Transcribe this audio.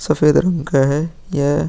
सफ़ेद रंग का है यह |